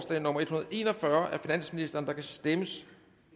en og fyrre af finansministeren der kan stemmes